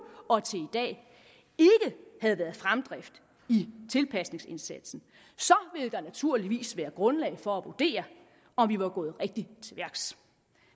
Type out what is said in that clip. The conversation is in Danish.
og til i dag ikke havde været fremdrift i tilpasningsindsatsen ville der naturligvis være grundlag for at vurdere om vi var gået rigtigt til værks